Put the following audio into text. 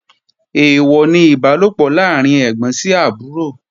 Èèwọ̀ ni Ìbálòpọ̀ láàrín ẹ́gbọ́n sí àbúrò